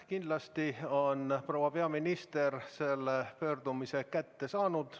Kindlasti on proua peaminister selle pöördumise kätte saanud.